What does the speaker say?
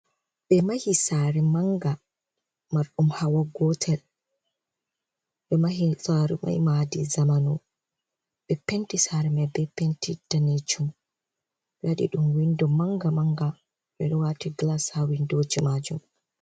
Ɓe mahi saare manga marɗum hawa gotel ɓe mahi saare mai madi zamanu ɓe penti saare mai ɓe penti danejum wadi ɗum windo manga manga ɓeɗo wati glas ha windoji majum.